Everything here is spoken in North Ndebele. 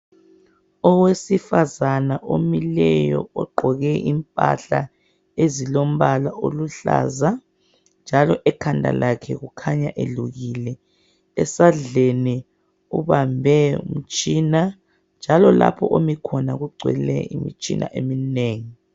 Owesifazana omileyo ogqoke impahla ezilombala oluhlaza, njalo ekhanda lakhe kukhanya elukile. Esandleni ubambe umtshina njalo lapho omikhona kugcwele imitshina eminengi.